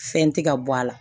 Fɛn tɛ ka bɔ a la